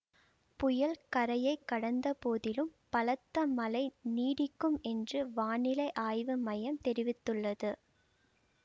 புயல் கரையை கடந்த போதிலும் பலத்த மழை நீடிக்கும் என்று வானிலை ஆய்வு மையம் தெரிவித்துள்ளது